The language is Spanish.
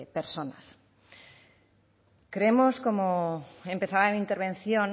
personas creemos como empezaba mi intervención